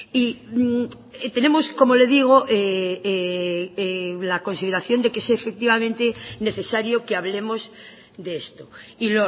y tenemos como le digo la consideración de que es efectivamente necesario que hablemos de esto y